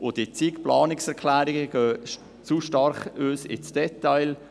Die zig Planungserklärungen gehen aus unserer Sicht zu stark ins Detail.